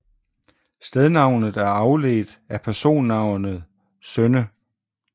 Stednavnet er afledt af personnavnet Sønne